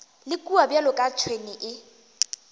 le kua bjaka tšhwene e